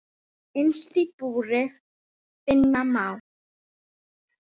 Innst í búri finna má.